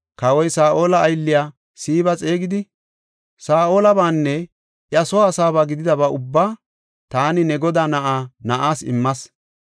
Kawoy Saa7ola aylliya Siiba xeegidi, “Saa7olabaanne iya soo asaaba gididaba ubbaa taani ne godaa na7aa na7aas immas.